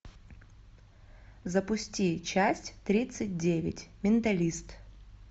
запусти часть тридцать девять менталист